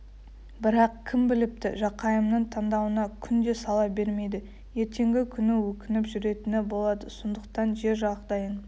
бірақ кім біліпті жақайымның таңдауына күнде сала бермейді ертеңгі күні өкініп жүретіні болады сондықтан жер жағдайын